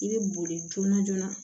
I bɛ boli joona joona